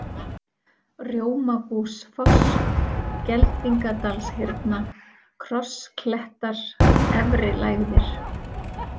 Rjómabúsfoss, Geldingadalshyrna, Krossklettar, Efrilægðir